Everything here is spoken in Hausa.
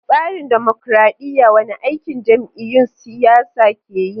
A tsarin dimokradiyya, wane aiki jam’iyyun siyasa ke yi?